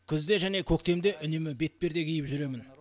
күзде және көктемде үнемі бетперде киіп жүремін